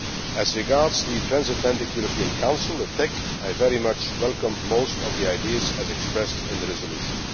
As regards the Transatlantic European Council, the TEC, I very much welcome most of the ideas expressed in the resolution.